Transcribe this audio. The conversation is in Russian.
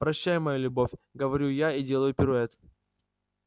прощай моя любовь говорю я и делаю пируэт